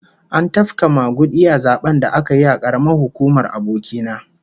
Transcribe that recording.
An tafka magudi a zaben da aka yi a karamar hukumar aboki na